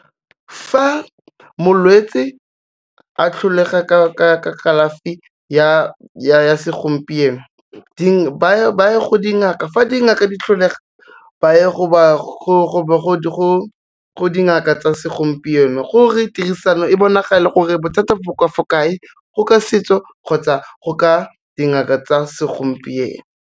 Fa molwetsi a hlolega ka kalafi ya segompieno ba go dingaka, fa dingaka di hloleha ba ya go dingaka tsa segompieno gore tirisano e bonagale gore bothata bo ka fo kae go ka setso, kgotsa go ka dingaka tsa segompieno.